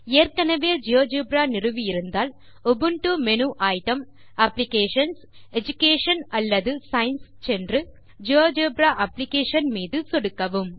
ஏற்கெனவே ஜியோஜெப்ரா நிறுவி இருந்தால் Ubuntu menu item applications education அல்லது சயன்ஸ் சென்று ஜியோஜெப்ரா அப்ளிகேஷன் மீது சொடுக்கவும்